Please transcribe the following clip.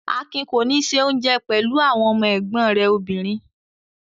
Akin kò ní se oúnjẹ pẹ̀lú àwọn ẹ̀gbọ́n rẹ̀ obìnrin.